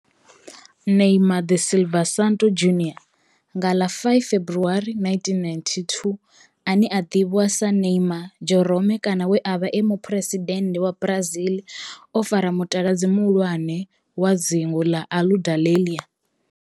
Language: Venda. Neymar da Silva Santos Junior nga ḽa 5 February 1992, ane a ḓivhiwa sa Neymar Jeromme kana we a vha e muphuresidennde wa Brazil o fara mutaladzi muhulwane wa dzingu na Aludalelia.